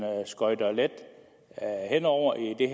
skøjter let hen over i det